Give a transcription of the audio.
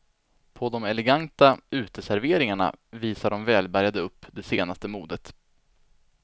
På de eleganta uteserveringarna visar de välbärgade upp det senaste modet.